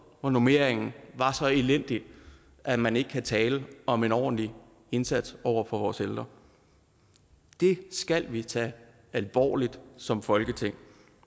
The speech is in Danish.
hvor normeringen var så elendig at man ikke kunne tale om en ordentlig indsats over for vores ældre det skal vi tage alvorligt som folketing